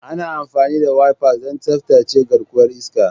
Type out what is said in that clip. Ana amfani da wipers don tsaftace garkuwar iska.